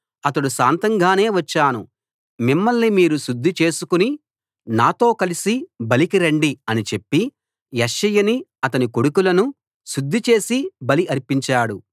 అతడు శాంతంగానే వచ్చాను మిమ్మల్ని మీరు శుద్ధి చేసుకుని నాతో కలసి బలికి రండి అని చెప్పి యెష్షయిని అతని కొడుకులను శుద్ధి చేసి బలి అర్పించాడు